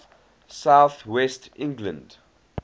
south west england